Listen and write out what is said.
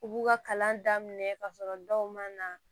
U b'u ka kalan daminɛ ka sɔrɔ dɔw ma na